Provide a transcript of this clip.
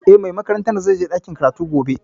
Eh, mai makarantar zai je ɗakin karatu gobe